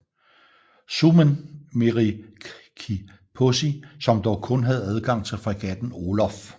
Suomen Meriekipaasi som dog kun havde adgang til fregatten Olof